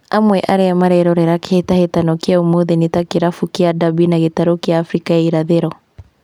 Amwe arĩa marerorera kĩhĩtahĩtano kĩu ũmũthĩ nĩ ta kĩrabu kĩa Derby ya gĩtaro kĩa Afrika ya irathĩro